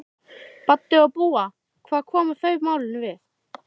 Baddi og Dúa, hvað koma þau málinu við?